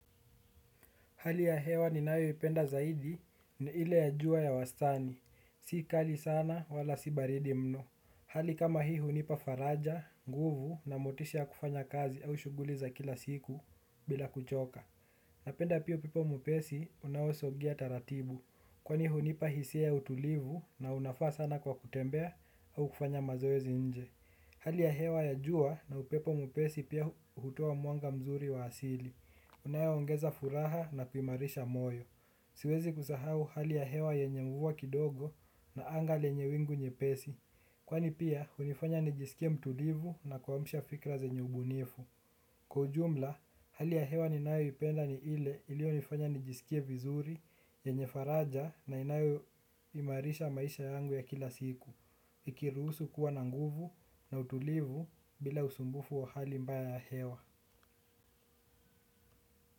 Hali ya hewa ninayoipenda zaidi ni ile ya jua ya wastani. Si kali sana wala si baridi mno. Hali kama hii hunipa faraja, nguvu na motisha kufanya kazi au shughuli za kila siku bila kuchoka. Napenda pia upepo mwepesi unaosogea taratibu. Kwani hunipa hisia ya utulivu na unafaa sana kwa kutembea au kufanya mazoezi nje. Hali ya hewa ya jua na upepo mwepesi pia hutoa mwanga mzuri wa asili. Unayongeza furaha na kuimarisha moyo. Siwezi kusahau hali ya hewa yenye mvua kidogo na anga lenye wingu nyepesi. Kwani pia, hunifanya nijisikie mtulivu na kuamsha fikra zenye ubunifu. Kwa ujumla, hali ya hewa ninaoipenda ni ile iliyonifanya nijisikie vizuri yenye faraja na inayoimarisha maisha yangu ya kila siku. Ikiruhusu kuwa na nguvu na utulivu bila usumbufu wa hali mbaya ya hewa.